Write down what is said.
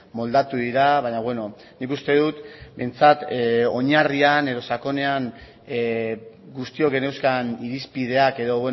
moldatu dira baina beno nik uste dut behintzat oinarrian edo sakonean guztiok geneuzkan irizpideak edo